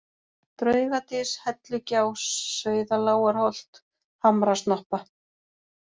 Draugadys, Hellugjá, Sauðalágarholt, Hamrasnoppa